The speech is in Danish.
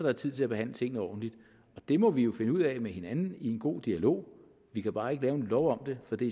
er tid til at behandle tingene ordentligt det må vi jo finde ud af med hinanden i en god dialog vi kan bare ikke lave en lov om det for det